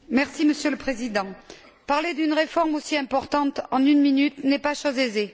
Monsieur le Président, parler d'une réforme aussi importante en une minute n'est pas chose aisée.